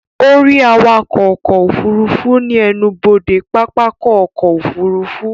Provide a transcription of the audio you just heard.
Ó rí awakọ̀ ọkọ̀ òfurufú ní ẹnubodè pápákọ̀ ọkọ̀ òfurufú